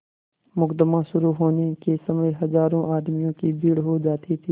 मुकदमा शुरु होने के समय हजारों आदमियों की भीड़ हो जाती थी